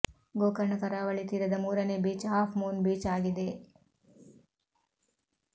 ಗೋಕರ್ಣ ಕರಾವಳಿ ತೀರದ ಮೂರನೇ ಬೀಚ್ ಹಾಫ್ ಮೂನ್ ಬೀಚ್ ಆಗಿದೆ